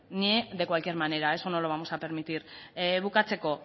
ni de cualquier manera eso no lo vamos a permitir bukatzeko